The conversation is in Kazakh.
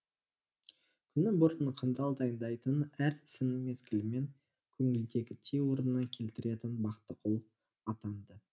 күні бұрын қамдал дайындайтын әр ісін мезгілімен көңілдегідей орнына келтіретін бақтығұл атанды